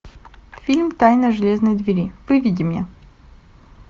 фильм тайна железной двери выведи мне